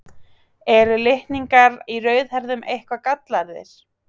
Eru litningar í rauðhærðum eitthvað gallaðir?